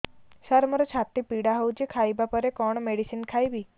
ସାର ମୋର ଛାତି ପୀଡା ହଉଚି ଖାଇବା ପରେ କଣ ମେଡିସିନ ଖାଇବି